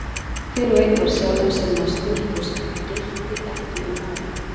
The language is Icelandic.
Hver og einn var sjálfum sér næstur og skeytti ekki um aðra.